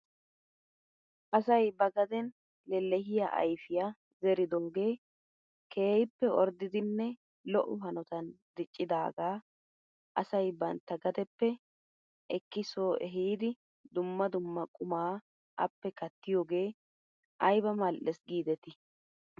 Asay ba gaden lelehiyaa ayfiyaa zeridoogee keehippe orddidinne lo'o hanotan diccidaagaa asay bantta gadeppe ekki soo ehidi dumma dumma qumaa appe kattiyoogee ayba mal'es kiidetii.